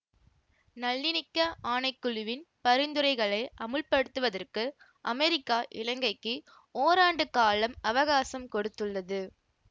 நல்லினிக்க ஆணை குழுவின் பரிந்துரைகளை அமுல்படுத்துவதற்கு அமெரிக்கா இலங்கைக்கு ஓராண்டு காலம் அவகாசம் கொடுத்துள்ளது